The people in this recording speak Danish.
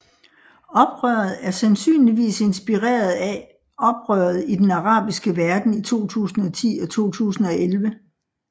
Oprøret er sandsynligvis inspireret af af oprøret i den arabiske verden i 2010 og 2011